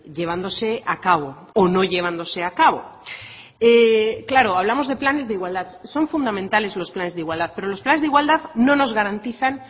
llevándose a cabo o no llevándose a cabo claro hablamos de planes de igualdad son fundamentales los planes de igualdad pero los planes de igualdad no nos garantizan